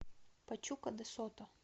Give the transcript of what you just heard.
пачука де сото